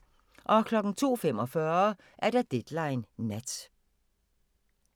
02:45: Deadline Nat